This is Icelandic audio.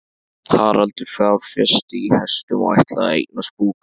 Haraldur fjárfesti í hestum og ætlaði að eignast búgarð.